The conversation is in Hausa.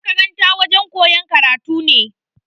Makaranta wajen koyan karatu ne